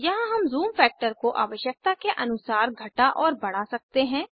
यहाँ हम zoom factor को आवशयकता के अनुसार घटा और बड़ा सकते हैं